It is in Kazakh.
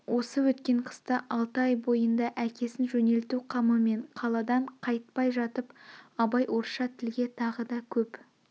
осы өткен қыста алты ай бойында әкесін жөнелту қамымен қаладан қайтпай жатып абай орысша тілге тағы да көп